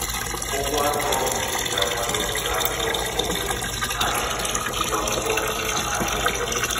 ụgwọ afọ nke iziga nwa gị n'ụlọ akwụkwọ nke onwe na aputa nnukwu ụgwọ akwukwo akwukwo maka agba obula